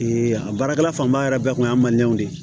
a baarakɛla fanba yɛrɛ bɛɛ kun y'a mandenw de ye